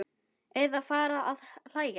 Eða fara að hlæja.